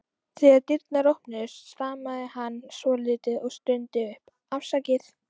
Þegar dyrnar opnuðust stamaði hann svolítið og stundi upp: Afsakið